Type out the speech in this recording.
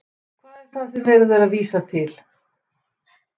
Hvað er það sem er verið að vísa til?